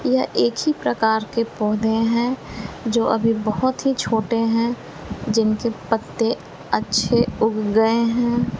ये एक ही प्रकार के पौधे हैं जो अभी बहोत ही छोटे हैं जिनके पत्ते अच्छे उग गए हैं।